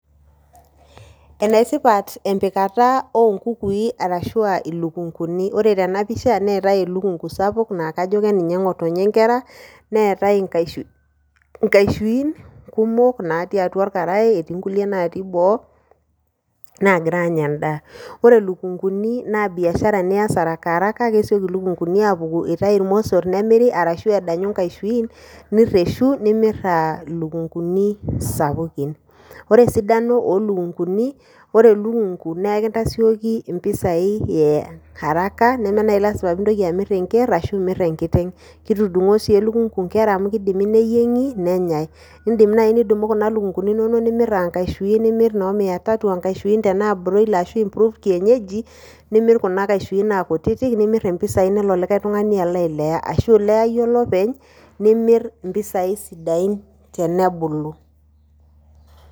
Ene tipat empikata onkukui ashuaa ilukunguni , ore tena pisha neetae elukungu sapuk naa kajo keninye ngotonye nkera neetae nkashuin kumok natii atua orkarae, etii nkulie natii boo nagira anya endaa . Ore lukunguni naa biashara nias haraka haraka kesioki ilukunguni apuku, itayu irmosor nemir, ashu edanyu nkashuin nireshu nimir aa ilukunguni sapukin . Ore esidano oo lukunguni , ore elukungu naa ekintasioki mpisai e haraka neme nai lasima pintoki amir enker ashu imir enkiteng. Kitudungoo sii elukungu inkera amu kidimi neyiengi ,nenyae. indim nai nidumu kuna lukunguni inonok nimir aa nkashuin aa kutitik anaa broiler anaa improved kienyeji , nimir kuna kashuin aa kutitik , nelo likae tungani alo ailea. Ashu ilea iyie olopeny nimir impisai sidain tenebulu.